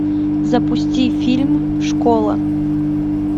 запусти фильм школа